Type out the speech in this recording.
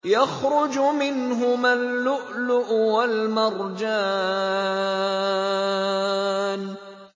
يَخْرُجُ مِنْهُمَا اللُّؤْلُؤُ وَالْمَرْجَانُ